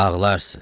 Ağlarsız.